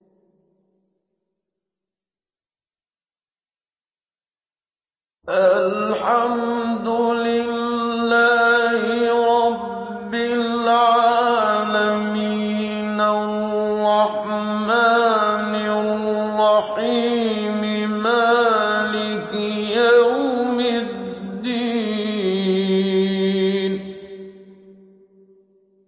مَالِكِ يَوْمِ الدِّينِ